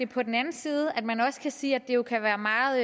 på den anden side kan man også sige at det jo kan være meget